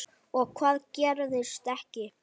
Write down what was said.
Og hvað gerðist ekki.